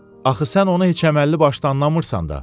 Axı sən onu heç əməlli başlı anlamırsan da.